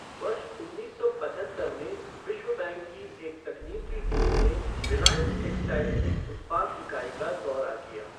वर्ष उन्नीस सौ पचहत्तर में विश्व बैंक की एक तकनीकी टीम ने रिलायंस टेक्सटाइल्स की उत्पाद इकाई का दौरा किया।